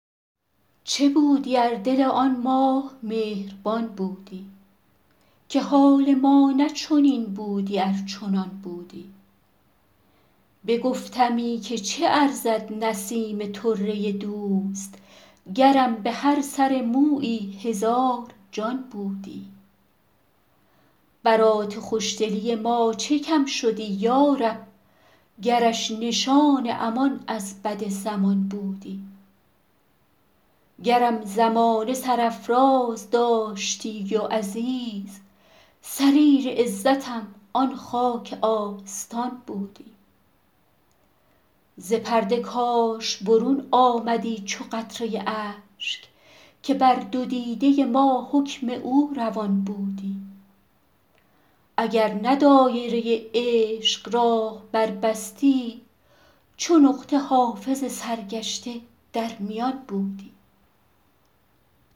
چه بودی ار دل آن ماه مهربان بودی که حال ما نه چنین بودی ار چنان بودی بگفتمی که چه ارزد نسیم طره دوست گرم به هر سر مویی هزار جان بودی برات خوش دلی ما چه کم شدی یا رب گرش نشان امان از بد زمان بودی گرم زمانه سرافراز داشتی و عزیز سریر عزتم آن خاک آستان بودی ز پرده کاش برون آمدی چو قطره اشک که بر دو دیده ما حکم او روان بودی اگر نه دایره عشق راه بربستی چو نقطه حافظ سرگشته در میان بودی